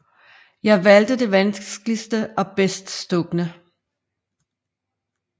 Jeg valgte det vanskeligste og bedst stukne